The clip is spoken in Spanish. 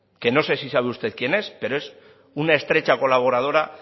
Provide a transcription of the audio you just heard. que no sé si sabe usted quién es pero es una estrecha colaboradora